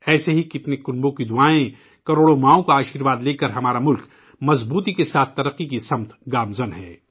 ایسے کتنے ہی کنبوں کی برکت، کروڑوں ماؤں کی دعائیں لیکر ہمارا ملک مضبوطی کے ساتھ ترقی کی راہ پر گامزن ہے